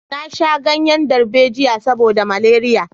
Na sha ganyen darbejiya saboda maleriya